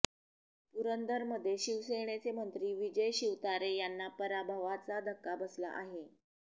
पुरंदरमध्ये शिवसेनेचे मंत्री विजय शिवतारे यांना पराभवाचा धक्का बसला आहे